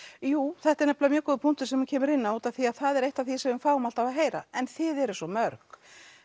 jú þetta er nefnilega mjög góður punktur sem þú kemur inn á út af því að það er eitt af því sem við fáum alltaf að heyra en þið eruð svo mörg